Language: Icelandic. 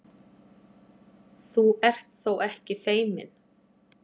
Þú ert þó ekki feiminn?